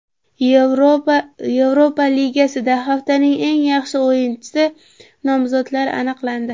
Yevropa Ligasida haftaning eng yaxshi o‘yinchisiga nomzodlar aniqlandi.